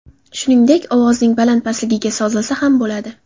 Shuningdek, ovozning baland-pastligini sozlasa ham bo‘ladi.